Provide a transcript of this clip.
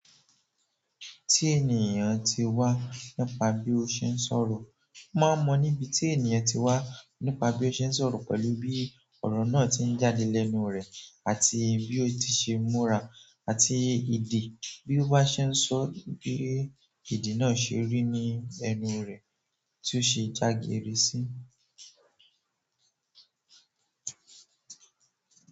Tí ènìyàn tí wá nípa bí ó ṣe ń sọ̀rọ̀. Mo máa ń mọ níbi tí ènìyàn tí wá nípa bí o ṣe ń sọ̀rọ̀ pẹ̀lú bí ọrọ náà tí ń jáde lẹ́nu rẹ àti bí o ti ṣe múra àti èdè bí o bá ṣe ń sọ, bí èdè náà ṣe rí ní ẹnu rẹ, bí o ṣe jageere sí.